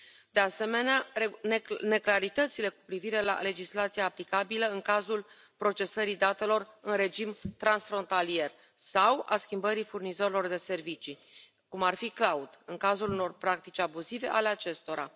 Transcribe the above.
de asemenea, neclaritățile cu privire la legislația aplicabilă în cazul procesării datelor în regim transfrontalier sau al schimbării furnizorilor de servicii, cum ar fi cloud, în cazul unor practici abuzive ale acestora.